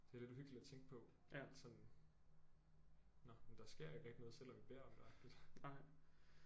Det er lidt uhyggeligt at tænke på at sådan nåh men der sker ikke rigtig noget selvom vi beder om det agtigt